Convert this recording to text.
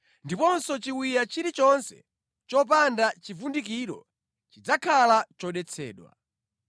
ndiponso chiwiya chilichonse chopanda chivundikiro chidzakhala chodetsedwa.